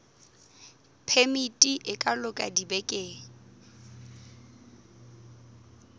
phemiti e ka loka dibekeng